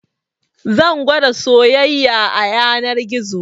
Zan gwada soyayya a yanar gizo